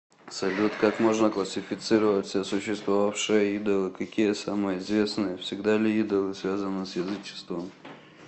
салют как можно классифицировать все существовавшие идолы какие самые известные всегда ли идолы связаны с язычеством